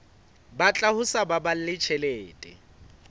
batla ho sa baballe tjhelete